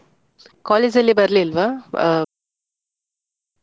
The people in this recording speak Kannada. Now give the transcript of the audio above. College ಅಲ್ಲಿ ಬರ್ಲಿಲ್ವಾ ಆ.